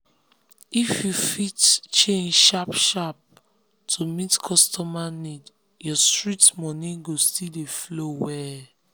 if you fit change sharp-sharp to meet customer need your street money go still dey flow well.